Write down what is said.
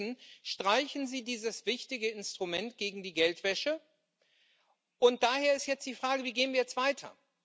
Stattdessen streichen Sie dieses wichtige Instrument gegen die Geldwäsche. Und daher ist jetzt die Frage Wie gehen wir jetzt weiter?